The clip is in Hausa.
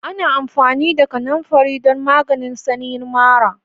Ana amfani da kananfari don maganin sanyin mara